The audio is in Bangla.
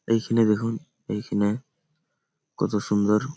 এইখানে দেখুন এইখানে কত সুন্দর।